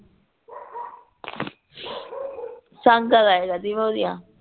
saga ਲਾਈਦਾ ਦੀ ਮੈਂ ਉਹਦੀਆਂ